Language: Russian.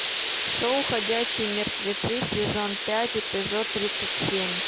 шоу ходячие мертвецы сезон пять эпизод тридцать семь